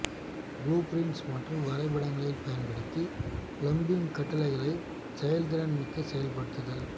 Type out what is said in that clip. blueprints மற்றும் வரைபடங்களைப் பயன்படுத்தி பிளம்பிங் கட்டளைகளை செயல்திறன் மிக்க செயல்படுத்துதல்